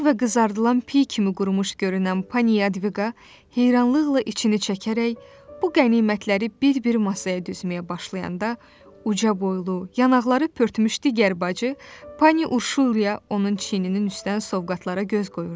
Arıq və qızardılan piy kimi qurumuş görünən Pani Yadviga heyrranlıqla içinə çəkərək bu qənimətləri bir-bir masaya düzməyə başlayanda uca boylu, yanaqları pörtmüş digər bacı Pani Urşulya onun çiyininin üstdən sovqatlara göz qoyurdu.